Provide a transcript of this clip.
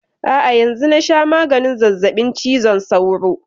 A'a yanzun na sha maganin zazzabin cizon sauro.